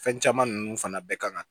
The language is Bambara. Fɛn caman ninnu fana bɛɛ kan ka